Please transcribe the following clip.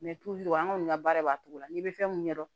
an kɔni ka baara b'a cogo la n'i bɛ fɛn mun ɲɛdɔn